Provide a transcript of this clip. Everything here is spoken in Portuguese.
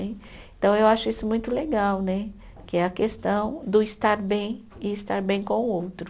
E então eu acho isso muito legal né, que é a questão do estar bem e estar bem com o outro.